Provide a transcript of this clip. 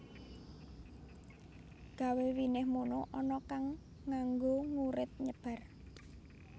Gawe winih mono ana kang nganggo ngurit nyebar